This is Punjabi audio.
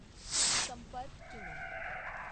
ਸੰਪਰਕ ਚੁਣੋ।